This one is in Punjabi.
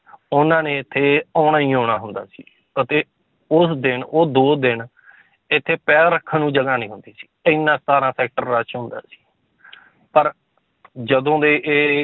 ਉਹਨਾਂ ਨੇ ਇੱਥੇ ਆਉਣਾ ਹੀ ਆਉਣਾ ਹੁੰਦਾ ਸੀ ਅਤੇ ਉਸ ਦਿਨ ਉਹ ਦੋ ਦਿਨ ਇੱਥੇ ਪੈਰ ਰੱਖਣ ਨੂੰ ਜਗ੍ਹਾ ਨੀ ਹੁੰਦੀ ਸੀ, ਇੰਨਾ ਸਤਾਰਾਂ sector rush ਹੁੰਦਾ ਸੀ ਪਰ ਜਦੋਂ ਦੇ ਇਹ